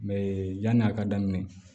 Mɛ yanni a ka daminɛ